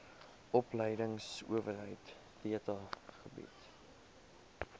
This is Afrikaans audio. opleidingsowerheid theta bied